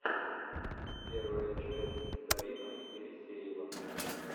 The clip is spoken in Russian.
первая часть дарина елисеева